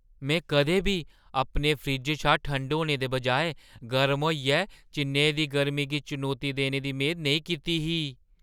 में कदें बी अपने फ्रिज्जै शा ठंडा होने दे बजाए गर्म होइयै चेन्नई दी गर्मी गी चनौती देने दी मेद नेईं कीती ही !